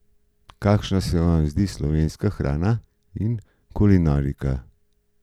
Kakšna sem vam zdita slovenska hrana in kulinarika?